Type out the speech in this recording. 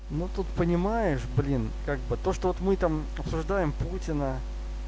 ну тут понимаешь блин как бы то что вот мы там обсуждаем путина